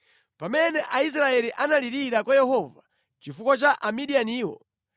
Pamene Aisraeli analirira kwa Yehova chifukwa cha Amidiyaniwo,